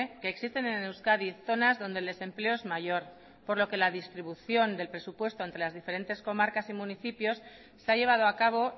que existen en euskadi zonas donde el desempleo es mayor por lo que la distribución del presupuesto entre las diversas comarcas y municipios se ha llevado a cabo